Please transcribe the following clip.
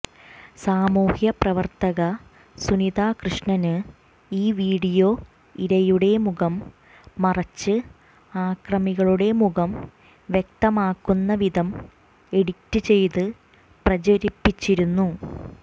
സമൂഹ്യപ്രവര്ത്തക സുനിത കൃഷ്ണന് ഈ വീഡിയോ ഇരയുടെ മുഖം മറച്ച് അക്രമികളുടെ മുഖം വ്യക്തമാകുന്ന വിധം എഡിറ്റ് ചെയ്ത് പ്രചരിപ്പിച്ചിരുന്നു